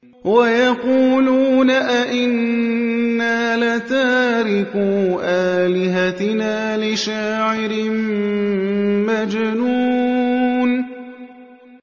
وَيَقُولُونَ أَئِنَّا لَتَارِكُو آلِهَتِنَا لِشَاعِرٍ مَّجْنُونٍ